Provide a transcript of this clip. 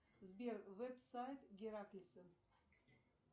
сбер веб сайт гераклиса